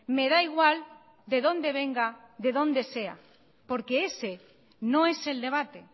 me da igual de donde venga de donde sea porque ese no es el debate